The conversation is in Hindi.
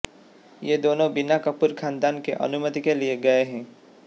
ये दोनों बिना कपूर खानदान के अनुमति के लिए गए हैं